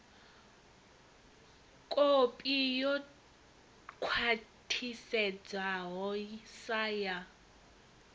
kopi yo khwathisedzwaho sa ya